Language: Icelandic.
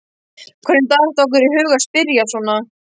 Hvernig datt okkur í hug að spyrja svona!